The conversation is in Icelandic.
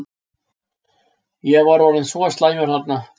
Ég var orðinn svo slæmur þarna.